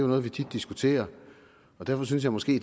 noget vi tit diskuterer og derfor synes jeg måske